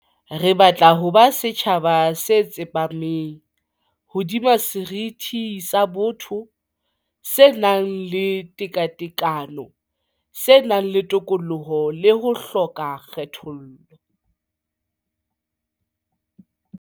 Re batla ho ba setjhaba se tsepameng hodima seriti sa botho, se nang le tekatekano, se nang le tokoloho le ho hloka kgethollo.